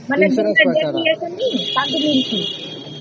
ମାନେ group ରୁ ଯେତେ ଜଣ ବି ଯାଇଛେ ତାଙ୍କୁ ମିଳିଛି